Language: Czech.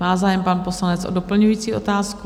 Má zájem pan poslanec o doplňující otázku?